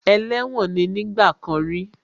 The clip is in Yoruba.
Ẹlẹ́wọ̀n ní nígbà kan rí